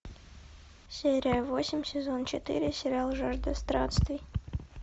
серия восемь сезон четыре сериал жажда странствий